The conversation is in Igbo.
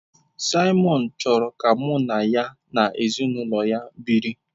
Simon chọrọ ka mụ na ya na ezinụlọ ya biri.